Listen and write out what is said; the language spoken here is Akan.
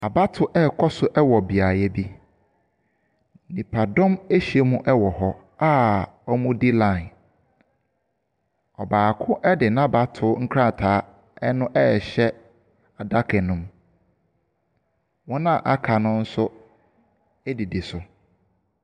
Abatoɔ ɛrekɔ so wɔ beaeɛ bi. Nipadom ɛhyia mu ɛwɔ hɔ a wɔdi line. Ɔbaako ɛde n'abato nkrataa no ɛɛhyɛ adaka no mu. Wɔn a aka no nso ɛdidi so.